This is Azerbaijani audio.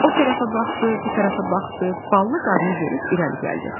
O tərəfə baxdı, bu tərəfə baxdı, ballı qarını görüb irəli gəldi.